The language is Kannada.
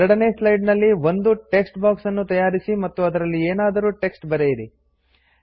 2ನೇ ಸ್ಲೈಡ್ ನಲ್ಲಿ ಒಂದು ಟೆಕ್ಸ್ಟ್ ಬಾಕ್ಸ್ ನ್ನು ತಯಾರಿಸಿ ಮತ್ತು ಅದರಲ್ಲಿ ಏನಾದರೂ ಟೆಕ್ಸ್ಟ್ ಬರೆಯಿರಿ